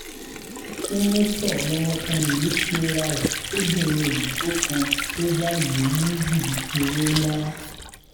sẹńtítọ lọmọkùnrin yìí pera ẹ fọbìnrin òyìnbó kan ló bá lù ú ní jìbìtì owó ńlá